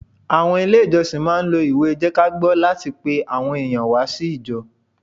Àwọn Ilé ìjọsìn máà ń lo ìwé jẹ́kágbọ́ láti pe àwọn èèyàn wá sí ijọ́